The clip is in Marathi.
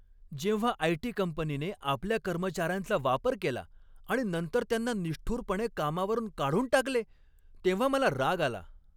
जेव्हा आयटी कंपनीने आपल्या कर्मचाऱ्यांचा वापर केला आणि नंतर त्यांना निष्ठुरपणे कामावरून काढून टाकले तेव्हा मला राग आला.